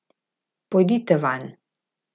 Pojdite vanj!